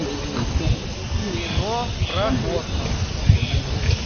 кино про космос